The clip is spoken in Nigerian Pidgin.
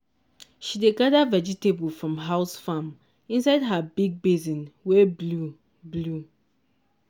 she dey gather vegetable from house farm inside her big basin wey blue blue